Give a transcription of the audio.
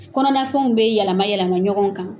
Kɔnɔna fɛnw bɛ yɛlɛma yɛlɛma ɲɔgɔn kan